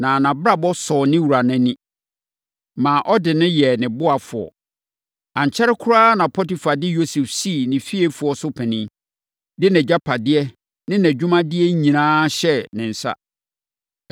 nʼabrabɔ sɔɔ ne wura no ani, maa ɔde no yɛɛ ne ɔboafoɔ. Ankyɛre koraa na Potifar de Yosef sii ne fiefoɔ so panin, de nʼagyapadeɛ ne nʼadwumadeɛ nyinaa hyɛɛ ne nsa.